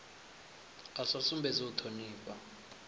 a sa sumbedzi u thonifha